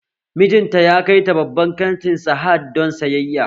Mijin ta ya kai ta babban kanti sahad don sayayya